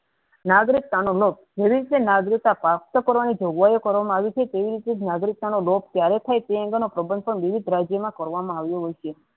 નાગરિકતાનો ભવિષ્ય પેસ્ટ કારણ જોગવાઈ કરવા માં આવી છે તેવી રીતેજ નાગરિકતણો લોભ કયારેક થાય તે અંગેના પ્રદર્શનો વિવિધ રાજ્યમાં કરવામાં આવે છે.